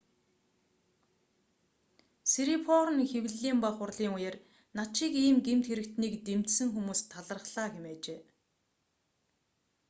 сирипорн хэвлэлийн бага хурлын үеэр над шиг ийм гэмт хэрэгтнийг дэмжсэн хүмүүст талархлаа хэмээжээ